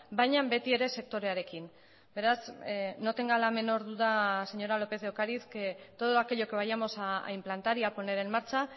baina betiere sektorearekin beraz no tenga la menor duda señora lópez de ocariz que todo aquello que vayamos a implantar y a poner en marcha